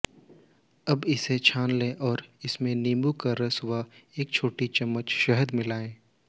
अब इसे छान लें और इसमें नीम्बू का रस व एक छोटी चम्मच शहद मिलाएं